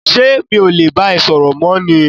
ṣé mi ò le bá ẹ sọ̀rọ̀ mọ́ ni?